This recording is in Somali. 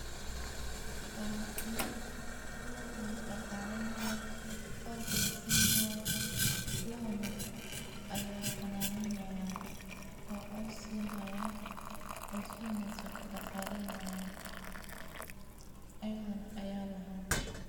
Waa loo ,lood oo la dhaqaaleynayo coos la sina hayo. laabo nin aya xanaaneeyan oo coos siin hayan oo si wanagsan u dhaqaaleyn hayan ayeg nah aya lahaan.